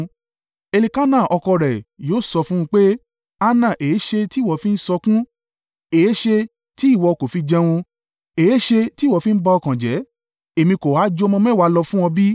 Elkana ọkọ rẹ̀ yóò sọ fún un pé, “Hana èéṣe tí ìwọ fi ń sọkún? Èéṣe tí ìwọ kò fi jẹun? Èéṣe tí ìwọ fi ń ba ọkàn jẹ́? Èmi kò ha ju ọmọ mẹ́wàá lọ fún ọ bí?”